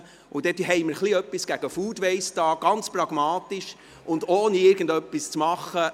Dann haben wir ein kleines Bisschen gegen FoodWaste gemacht, ganz pragmatisch und ohne irgendetwas zu tun.